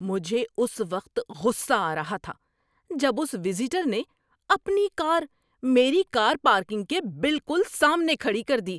مجھے اس وقت غصہ آ رہا تھا جب اس وزیٹر نے اپنی کار میری کار پارکنگ کے بالکل سامنے کھڑی کر دی۔